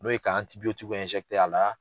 N'o ye ka tigiw a la